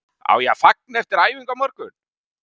Á ég að fagna eftir æfingu á morgun?